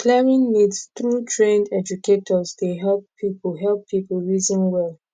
clearing myths through trained educators dey help people help people reason well